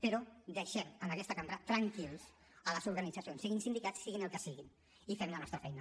però deixem en aquesta cambra tranquil·les les organitzacions siguin sindicats siguin el que siguin i fem la nostra feina